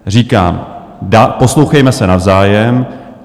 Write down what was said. Říkám, poslouchejme se navzájem.